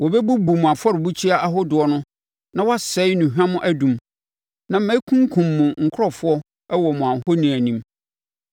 Wɔbɛbubu mo afɔrebukyia ahodoɔ no na wɔasɛe nnuhwam adum; na mɛkunkum mo nkurɔfoɔ wɔ mo ahoni anim.